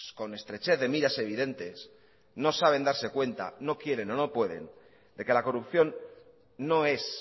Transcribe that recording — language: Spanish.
con estrechez de miras evidentes no saben darse cuenta no quieren o no pueden de que la corrupción no es